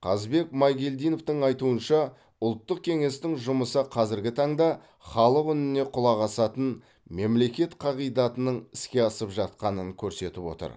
қазбек майгелдинов айтуынша ұлттық кеңестің жұмысы қазіргі таңда халық үніне құлақ асатын мемлекет қағидатының іске асып жатқанын көрсетіп отыр